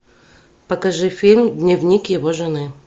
покажи фильм дневник его жены